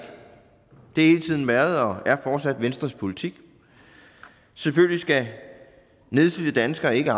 og det har hele tiden været og er fortsat venstres politik selvfølgelig skal nedslidte danskere ikke